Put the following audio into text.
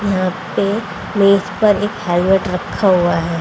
यहां पे मेज पर एक हेलमेट रखा हुआ है।